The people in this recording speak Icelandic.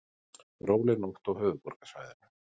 Róleg nótt á höfuðborgarsvæðinu